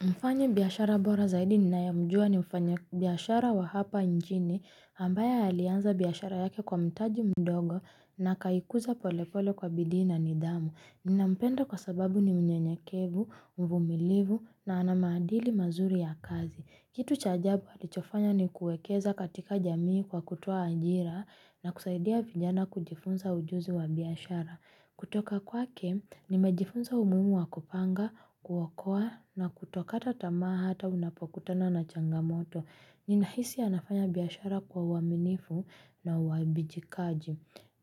Mfanya biashara bora zaidi ninayemjua ni mfanya biashara wa hapa injini hambaye alianza biashara yake kwa mtaji mdogo na akaikuza pole pole kwa bidii na nidhamu. Ninampenda kwa sababu ni mnyenyekevu, mvumilivu na ana maadili mazuri ya kazi. Kitu cha ajabu alichofanya ni kuekeza katika jamii kwa kutoa ajira na kusaidia vijana kujifunza ujuzi wa biashara. Kutoka kwake, nimejifunza umuhimu wa kupanga, kuokoa na kutokata tamaa hata unapokutana na changamoto. Ninahisi anafanya biashara kwa uaminifu na uabijikaji.